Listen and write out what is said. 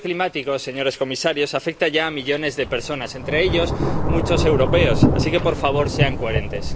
El cambio climático, señores comisarios, afecta ya a millones de personas, entre ellos muchos europeos, así que, por favor, sean coherentes.